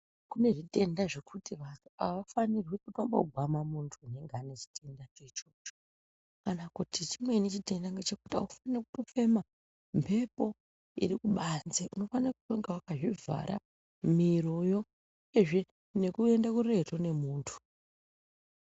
Kunezvitenda zvekuti vanhu avafanirwi kutombo gwama muntu unenge ainechitenda cho ichocho kana kuti chimweni chitenda ngechekuti aufani kutofema mhepo irikubanze unofana kunge wakazvivhara miro yo uyezve nekuenda kuretu nemuntu.